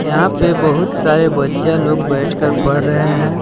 यहां पे बहुत सारे बच्चियां लोग बैठकर पढ़ रहे हैं।